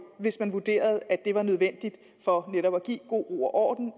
hvis man vurderede at det var nødvendigt for netop at give god ro og orden